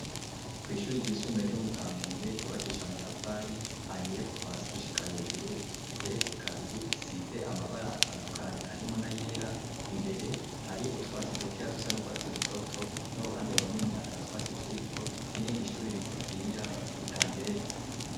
Ko'ishuri ryisumbe ryo mu kampenge ryubakisha amatafari ahiye kuvasi gushika hejuru igeretse kabiri isize amabara atandukanyi harimuna yera imbere hari utwasi dukeya dusa n' urwatsi rutoto n'uruhande wo neni ata twasi turiko n'irindi ishuri rigufiya ridageretse.